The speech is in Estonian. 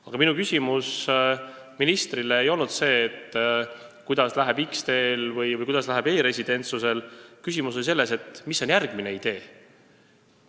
Aga minu küsimus ministrile ei olnud see, kuidas läheb X-teel või e-residentsusel, küsimus oli selles, mis on järgmine idee.